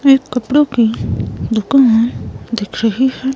एक कपड़ों की दुकान दिख रही है.